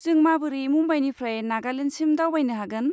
जों माबोरै मुम्बाइनिफ्राय नागालेन्डसिम दावबायनो हागोन?